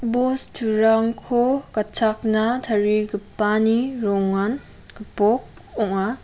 bosturangko gatchakna tarigipani rongan gipok ong·a.